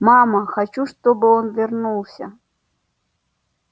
мама хочу чтобы он вернулся